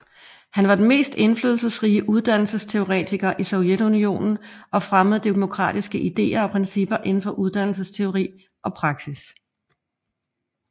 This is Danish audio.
Han var den mest indflydelsesrige uddannelsesteoretiker i Sovjetunionen og fremmede demokratiske ideer og principper inden for uddannelsesteori og praksis